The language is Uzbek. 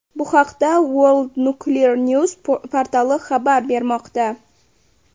Bu haqda World Nuclear News portali xabar bermoqda .